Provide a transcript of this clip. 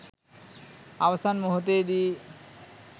අවසන් මොහොතේදී